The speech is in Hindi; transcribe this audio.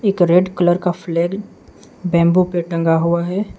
एक रेड कलर का फ्लैग बंबू पे टंगा हुआ है।